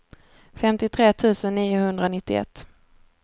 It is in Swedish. femtiotre tusen niohundranittioett